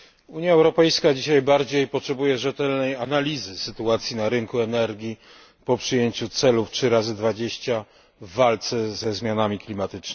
Unia Europejska dzisiaj bardziej potrzebuje rzetelnej analizy sytuacji na rynku energii po przyjęciu celów 3x20 w walce ze zmianami klimatu.